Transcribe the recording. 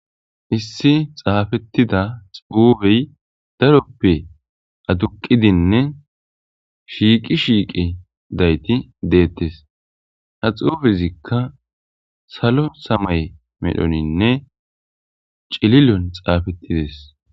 issi xaafettida xuubey daroppe aduqidinne shiiqi shiiqi dayti deettes ha xuufezikka salo samay medhoninne cililon xaafettides